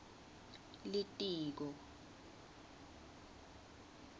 litiko